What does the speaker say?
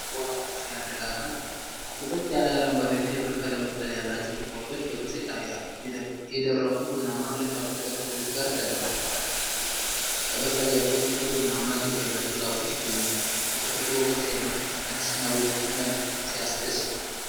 ዋው ሲያረጋጋ! ጥቅጥቅ ያለ የአረንጓዴና የብር ቀለም ቅጠል ያላቸው ቁጥቋጦዎች በግልጽ ይታያሉ። የደረቁ ቡናማ ቅርንጫፎች ከቅጠሎቹ ጋር ተደባልቀዋል። ከበስተጀርባው ጥቁር ቡናማ ግንድ ያላቸው ዛፎች ይገኛሉ። የተፈጥሮ ውበት ሲያምር! አዲስና ውብ መልክ! ሲያስደስት!